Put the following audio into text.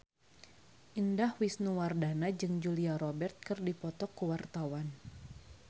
Indah Wisnuwardana jeung Julia Robert keur dipoto ku wartawan